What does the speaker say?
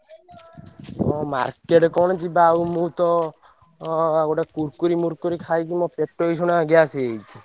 ହଁ market କଣ ଯିବା ଆଉ ମୁଁ ତ ଅ ଗୋଟେ Kurkure ମୁରକୁରି ଖାଇକି ମୋ ପେଟ ବି gas ହେଇଯାଇଚି।